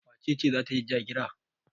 Wace ce za ta yi ja-gira?